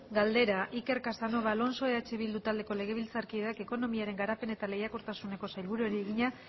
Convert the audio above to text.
galdera iker casanova alonso eh bildu taldeko legebiltzarkideak ekonomiaren garapen eta lehiakortasuneko sailburuari egina